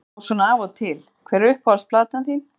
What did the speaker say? Já svona af og til Hver er uppáhalds platan þín?